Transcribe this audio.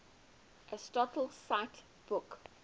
aristotle cite book